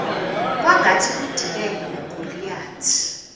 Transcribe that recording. kwangathi kudibene ugoliyathi